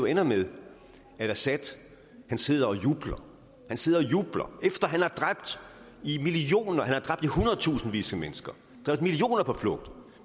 ender med at assad sidder og jubler han sidder og jubler efter at han har dræbt i i hundredtusindvis af mennesker drevet millioner på flugt